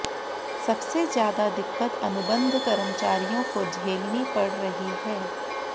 सबसे ज्यादा दिक्कत अनुबंध कर्मचारियों को झेलनी पड़ रही है